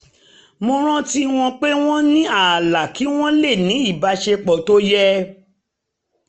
mo rántí wọn pé mo ní ààlà kí wọ́n lè ní ìbáṣepọ̀ tó yé